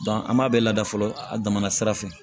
an b'a bɛɛ lada fɔlɔ a damana sira fɛ